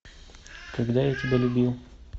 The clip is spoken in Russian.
когда я тебя любил